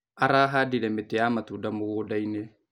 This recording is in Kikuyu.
Arahandire mĩtĩ ya matunda mũgundainĩ.